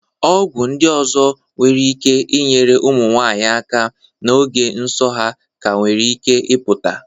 Ọgwụ ndị ọzọ nwere ike inyere ụmụnwanyị aka n'oge nsọ ha ka nwere ike ịpụta.